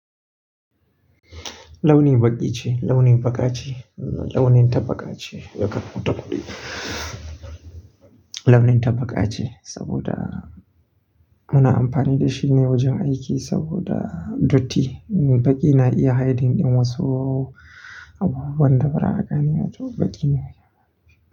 Launi baƙi ce, launi baƙa ce, launin ta baƙa ce. Ya karɓo takardu. Launin ta baƙa ce sabida ana amfani da shine wajen aiki sabida datti. Baƙi na iya hiding ɗin wasu abubuwan da ba ra'a gane ba, to baƙi ne.